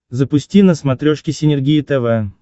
запусти на смотрешке синергия тв